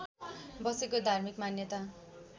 बसेको धार्मिक मान्यता